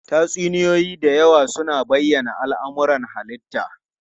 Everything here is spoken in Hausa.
Tatsuniyoyi da yawa suna bayyana al'amuran halitta.